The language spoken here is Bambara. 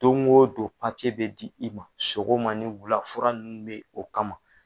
Don o don papiye bɛ di i ma sogoma ni wula fura nunnu bɛ o kama.